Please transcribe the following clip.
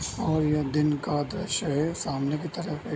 और यह दिन का दृश्य है सामने की तरफ एक --